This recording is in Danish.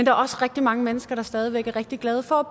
er også rigtig mange mennesker der stadig væk er rigtig glade for at